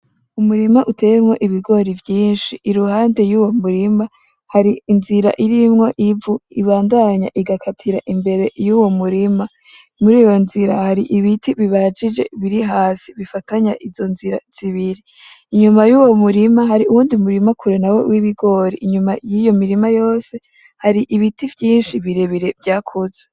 Umurima uteyemwo ubigori vyinshi, iruhande y'uwo murima hari inzira irimwo ivu ribandanya rigakatira imbere y'uwo murima, muri iyo nzira hari ibiti bibajije biri hasi bifatanya izo nzira zibiri, unyuma y'uwo murima hari uwundi murima kure w'ibigori, unyuma y'iyi mirima yose hari ibiti vyinshi birebire vyakuze.